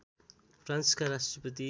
फ्रान्सका राष्ट्रपति